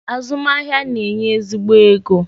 Azum ahia a na-enye ezigbo ego.